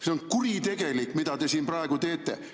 See on kuritegelik, mida te siin praegu teete.